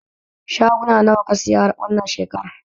Shaguna nawa ka saya wannan shekaran?